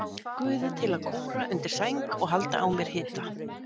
Guði til að kúra undir sæng og halda á mér hita?